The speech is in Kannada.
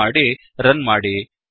ಸೇವ್ ಮಾಡಿ ರನ್ ಮಾಡಿ